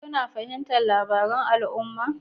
Kuna fahimtar labarun al'umma